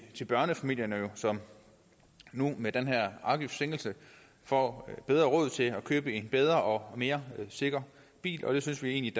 til børnefamilierne som nu med den her afgiftssænkelse får bedre råd til at købe en bedre og mere sikker bil og det synes vi